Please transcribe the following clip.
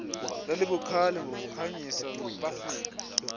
lalibukhali ngokukhanyisa bafika